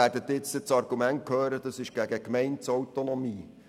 Sie werden nun das Argument hören, das sei gegen die Gemeindeautonomie.